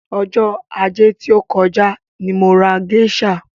Ọjọ́ ajé tí ó kọjá ni mo ra géṣà.